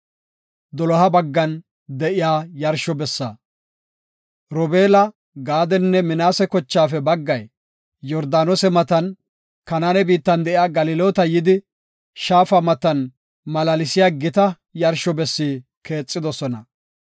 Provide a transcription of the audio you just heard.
Robeela, Gaadenne Minaase kochaafe baggay Yordaanose matan Kanaane biittan de7iya Galiloota yidi, shaafa matan malaalsiya gita yarsho bessi keexidosona.